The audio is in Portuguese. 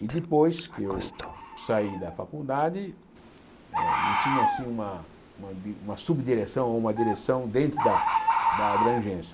E depois que eu saí da faculdade, eh não tinha assim uma uma subdireção ou uma direção dentro da da abrangência.